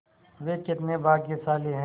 वे कितने भाग्यशाली हैं